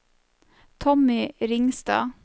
Tommy Ringstad